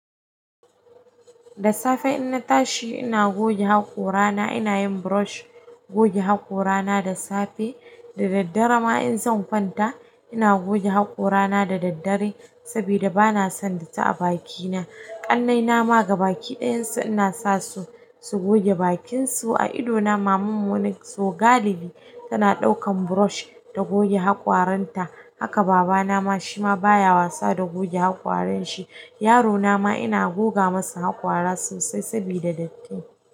Da safe in na tashi ina goge haƙorana ina yin brush goge haƙorana da safe. Da daddare ma in zan kwanta ina goge haƙorana da daddare saboda bana son datti a bakina. Ƙannaina ma gabaƙi ɗayansu ina sa su, su goge bakinsu. A idona mamanmu wani so galibi tana ɗaukan brush ta goge haƙoranta. Haka babana ma shi ma baya wasa da goge haƙoran shi. Yarona ma ina goga masa haƙora sosai saboda datti.